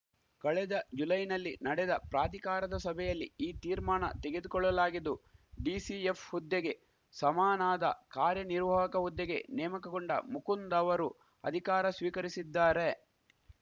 ಕಳೆದ ಜುಲೈನಲ್ಲಿ ನಡೆದ ಪ್ರಾಧಿಕಾರದ ಸಭೆಯಲ್ಲಿ ಈ ತೀರ್ಮಾಣ ತೆಗೆದುಕೊಳ್ಳಲಾಗಿದ್ದು ಡಿಸಿಎಫ್‌ ಹುದ್ದೆಗೆ ಸಮನಾದ ಕಾರ್ಯ ನಿರ್ವಾಹಕ ಹುದ್ದೆಗೆ ನೇಮಕಗೊಂಡ ಮುಕುಂದ್‌ ಅವರು ಅಧಿಕಾರ ಸ್ವೀಕರಿಸಿದ್ದಾರೆ